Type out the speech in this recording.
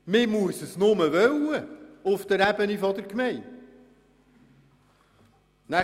Man muss das auf der Ebene der Gemeinde nur wollen.